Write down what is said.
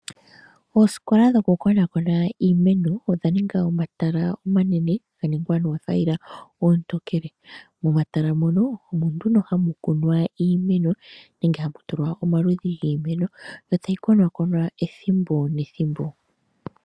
Oosikola dhokukonakona iimeno odha ninga omatala omanene ga ningwa noothayila oontokele. Momatala mono omo nduno hamu kunwa iimeno nenge hamu tulwa omaludhi giimeno, yo tayi konakonwa ethimbo nethimbo.